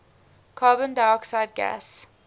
carbon dioxide gas